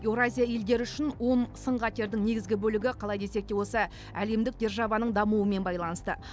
еуразия елдері үшін он сын қатердің негізгі бөлігі қалай десек те осы әлемдік державаның дамуымен байланысты